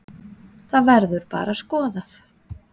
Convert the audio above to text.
Það verður bara skoðað.